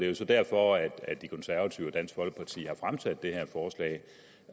jo så derfor at de konservative og dansk folkeparti har fremsat det